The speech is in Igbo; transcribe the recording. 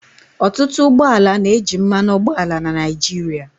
Ọtụtụ ụgbọ ala na-eji mmanụ ụgbọala na Naịjirịa.